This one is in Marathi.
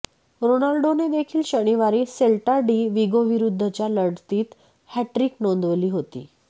रोनाल्डोनेदेखील शनिवारी सेल्टा डी विगोविरुद्धच्या लढतीत हॅटट्रिक नोंदवली होती